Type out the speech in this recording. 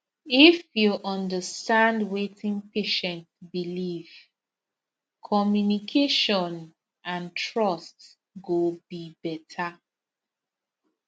if you understand wetin patient believe communication and trust go be better